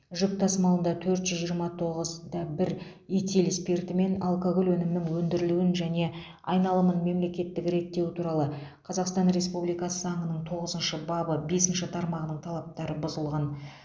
жүк тасымалында төрт жүз жиырма тоғыз да бір этил спирті мен алкоголь өнімінің өндірілуін және айналымын мемлекеттік реттеу туралы қазақстан республикасы заңының тоғызыншы бабы бесінші тармағының талаптары бұзылған